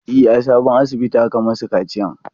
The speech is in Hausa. E, a sabon asibitin aka yi masu kaciyan.